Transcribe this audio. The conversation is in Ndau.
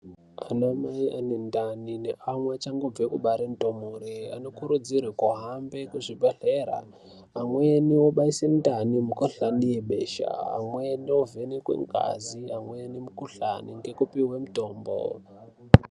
Anamai ane ndani neamwe achangobve kubare ndumure anokurudzirwa kuhambe kuzvibhedhlera. Amweni obaise ndani, ,mikuhlani yebesha, amweni ovhenekwe ngazi, amweni mukuhlani ngekupihwe mitombo.